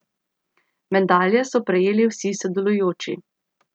Medalje so prejeli vsi sodelujoči.